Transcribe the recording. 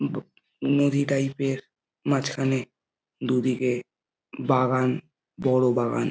নদী টাইপ এর মাঝখানে দুদিকে বাগান বড়ো বাগান।